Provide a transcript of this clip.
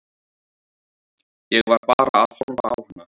Ég var bara að horfa á hana.